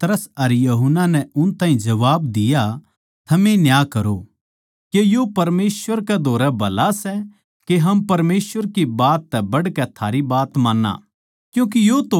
पर पतरस अर यूहन्ना नै उन ताहीं जबाब दिया थमे न्याय करो के यो परमेसवर कै धोरै भला सै के हम परमेसवर की बात तै बढ़कै थारी बात मान्नां